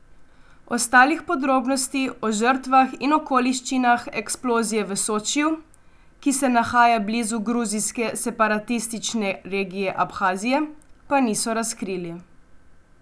Ostalih podrobnosti o žrtvah in okoliščinah eksplozije v Sočiju, ki se nahaja blizu gruzijske separatistične regije Abhazije, pa niso razkrili.